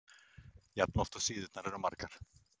jafn oft og síðurnar eru margar.